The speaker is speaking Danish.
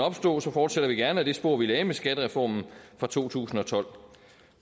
opstå fortsætter vi gerne i det spor vi lagde med skattereformen fra to tusind og tolv